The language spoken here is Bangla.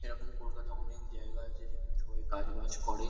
এরকম কলকাতায় অনেক জায়গা আছে যেখানে সবাই কাজ-বাজ করে ।